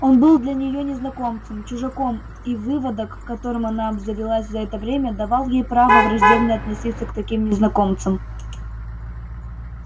он был для нее незнакомцем чужаком и выводок которым она обзавелась за это время давал ей право враждебно относиться к таким незнакомцам